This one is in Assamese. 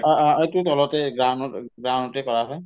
অ, অ অ এইটো তলতে ground ত ground তে কৰা হয়